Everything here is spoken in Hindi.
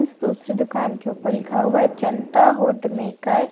दूसरी दुकान के ऊपर लिखा हुआ है जनता हुड मेकर ।